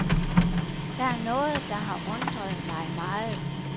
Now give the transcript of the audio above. Der er noget, der har undret mig meget.